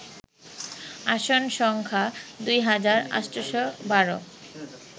আসন সংখ্যা দুই হাজার ৮১২